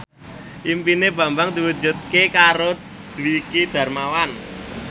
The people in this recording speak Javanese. impine Bambang diwujudke karo Dwiki Darmawan